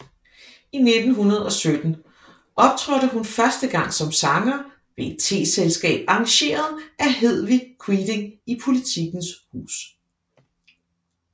I 1917 optrådte hun første gang som sanger ved et teselskab arrangeret af Hedevig Quiding i Politikens Hus